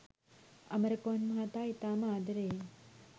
අමරකෝන් මහතා ඉතාම ආදරෙයෙන්